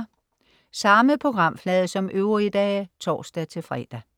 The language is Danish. Samme programflade som øvrige dage (tors-fre)